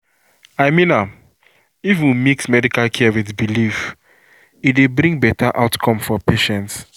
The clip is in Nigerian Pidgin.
i mean am if we mix medical care with belief e dey bring better outcome for patients.